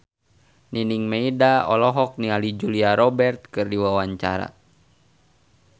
Nining Meida olohok ningali Julia Robert keur diwawancara